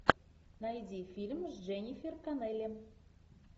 найди фильм с дженнифер коннелли